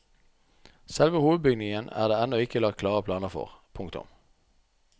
Selve hovedbygningen er det ennå ikke lagt klare planer for. punktum